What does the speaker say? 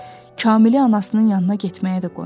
Kamili anasının yanına getməyə də qoymurdu.